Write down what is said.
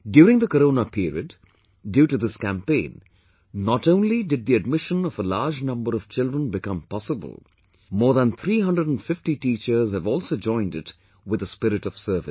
During the Corona period, due to this campaign, not only did the admission of a large number of children become possible, more than 350 teachers have also joined it with a spirit of service